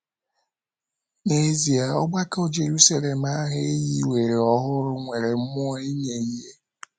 N’ezie, ọgbakọ Jeruselem ahụ e hiwere ọhụrụ nwere mmụọ inye ihe!